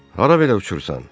Hara belə uçursan?